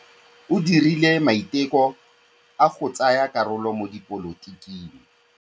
O dirile maitekô a go tsaya karolo mo dipolotiking.